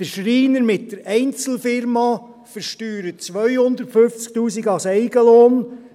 Der Schreiner mit der Einzelfirma versteuert 250’000 Franken als Eigenlohn,